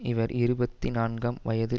இவர் இருபத்தி நான்காம் வயதில்